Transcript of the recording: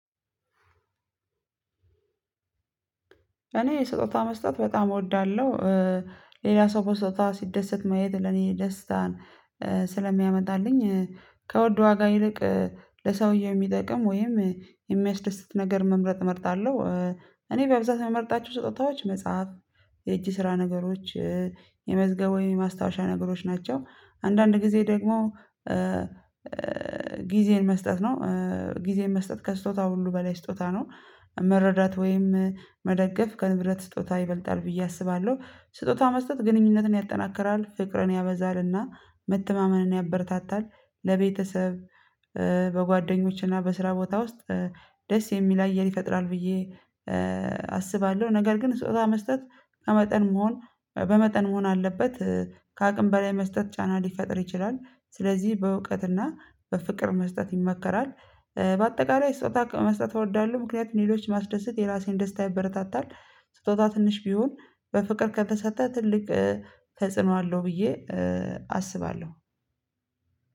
እኔ ስጦታ መስጠት በጣም እወዳለሁ። ሌላ ሰው በስጦታ ሲደሰት ማየት ለኔ ደስታን ስለሚያመጣልኝ ከውድ ዋጋ ይልቅ ለሰውዬ የሚጠቅም ወይም የሚያስደስት ነገር መምረጥ እመርጣለሁ። እኔ በብዛት ምመርጣቸው ስጦታዎች መጽሐፍ የእጅ ስራ ነገሮች የመዝገብ ወይም የማስታወሻ ነገሮች ናቸው አንዳንድ ጊዜ ደግሞ ጊዜን መስጠት ነው። ጊዜን መስጠት ከስጦታ ሁሉ በላይ ስጦታ ነው። መረዳት ወይም መደገፍ ከንብረት ስጦታ ይበልጣል ብዬ አስባለሁ ስጦታ መስጠት ግንኙነትን ያጠናክራል ፍቅርን ያበዛልና መተማመንን ያበረታታል። ለቤተሰብ በጓደኞችና በስራ ቦታ ውስጥ ደስ የሚል አየር ይፈጥራል ብዬ አስባለሁ። ነገር ግን ስጦታ መስጠት በመጠን መሆን በመጠን መሆን አለበት ከአቅም በላይ መስጠት ጫና ሊፈጥር ይችላል። ስለዚህ በእውቀትና በፍቅር መስጠት ይመከራል። በአጠቃላይ ስጦታ መስጠት እወዳለሁ ምክንያቱም ሌሎች ማስደሰት የራሴን ደስታ ይበረታታል። ስጦታ ትንሽ ቢሆን በፍቅር ከተሰጠ ትልቅ ተጽዕኖ አለው ብዬ አስባለሁ።